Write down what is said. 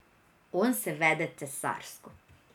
On se vede cesarsko.